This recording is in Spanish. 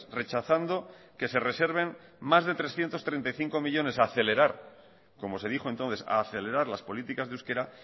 rechazando que se reserven más de trescientos treinta y cinco millónes a acelerar como se dijo entonces a acelerar las políticas de euskera